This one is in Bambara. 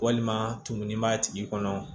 Walima tumuni b'a tigi kɔnɔ